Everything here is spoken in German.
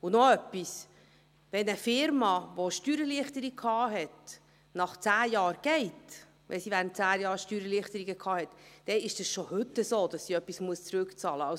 Und noch etwas: Wenn eine Unternehmung, welche eine Steuererleichterung hatte, nach 10 Jahren geht – wenn sie während 10 Jahren Steuererleichterung hatte –, dann ist es schon heute so, dass sie etwas zurückbezahlen muss.